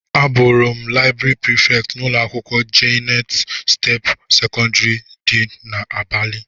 Abuuru m laịbrị Prịfèkt n'ụlọ akwụkwọ Jayent step sekọndrị dị n'abalị.